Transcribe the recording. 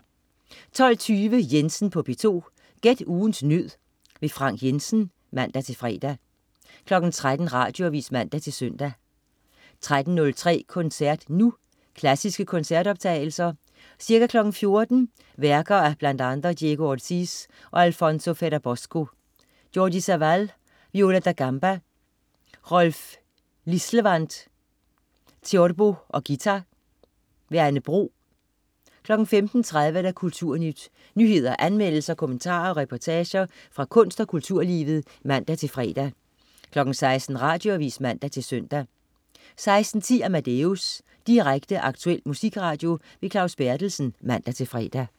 12.20 Jensen på P2. Gæt ugens nød. Frank Jensen (man-fre) 13.00 Radioavis (man-søn) 13.03 Koncert Nu. Klassiske koncertoptagelser. Ca. 14.00 Værker af bl.a. Diego Ortiz og Alfonso Ferrabosco. Jordi Savall, viola da gamba. Rolf Lislevand, theorbo og guitar. Anne Bro 15.30 Kulturnyt. nyheder, anmeldelser, kommentarer og reportager fra kunst- og kulturlivet (man-fre) 16.00 Radioavis (man-søn) 16.10 Amadeus. Direkte, aktuel musikradio. Claus Berthelsen. (man-fre)